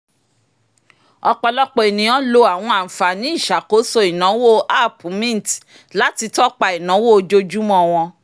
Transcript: ọ̀pọ̀lọpọ̀ ènìyàn lo àwọn àǹfààní ìṣàkóso ináwó app mint láti tọ́pa ináwó ojoojúmọ́ wọ́n